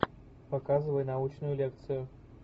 показывай научную лекцию